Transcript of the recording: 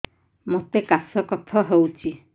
ମୋତେ କାଶ କଫ ହଉଚି